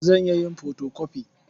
Zan iya yin fotokofi.